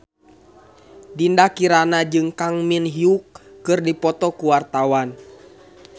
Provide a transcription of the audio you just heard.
Dinda Kirana jeung Kang Min Hyuk keur dipoto ku wartawan